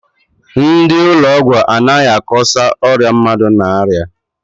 Ndị ụlọ ọgwụ adịghị akọsa ọrịa mmadụ n'aria.